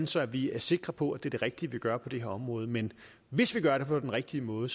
så vi er sikre på at det er det rigtige vi gør på det her område men hvis vi gør det på den rigtige måde